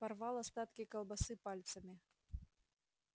порвал остатки колбасы пальцами